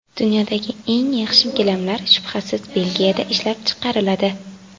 Dunyodagi eng yaxshi gilamlar shubhasiz Belgiyada ishlab chiqariladi.